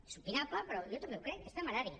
és opinable però jo també ho crec és temerari